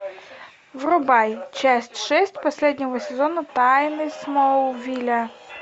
врубай часть шесть последнего сезона тайны смолвиля